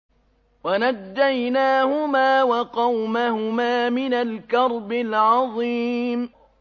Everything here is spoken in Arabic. وَنَجَّيْنَاهُمَا وَقَوْمَهُمَا مِنَ الْكَرْبِ الْعَظِيمِ